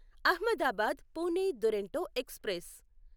Ahmedabad Pune Duronto express